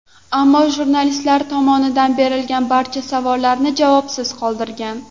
Ammo jurnalistlar tomonidan berilgan barcha savollarni javobsiz qoldirgan.